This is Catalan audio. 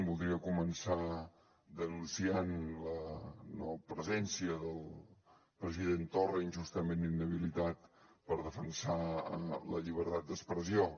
voldria començar denunciant la no presència del president torra injustament inhabilitat per defensar la llibertat d’expressió